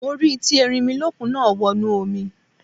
Mo rí tí Erinmilọ́kun náà wọnú omi.